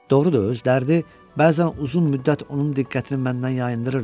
Doğrudur, öz dərdi bəzən uzun müddət onun diqqətini məndən yayındırırdı.